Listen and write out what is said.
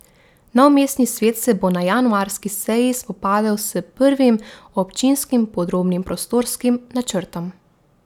Nov mestni svet se bo na januarski seji spopadel s prvim občinskim podrobnim prostorskim načrtom.